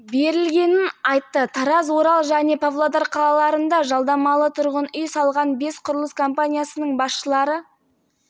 біз қылмыстық әрекеттердің барлық тізбектерін мұқият қадағалап отырдық кәсіпкерлер ақшаны қайдан алғанын анықтадық осы қаражат астанаға